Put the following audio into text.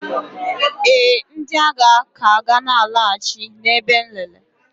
ee, ndị agha ka ga na-alaghachi na ebe nlele